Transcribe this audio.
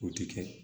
O ti kɛ